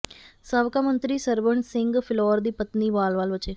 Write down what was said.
ਸਾਬਕਾ ਮੰਤਰੀ ਸਰਬਣ ਸਿੰਘ ਫਿਲੌਰ ਦੀ ਪਤਨੀ ਵਾਲ ਵਾਲ ਬਚੇ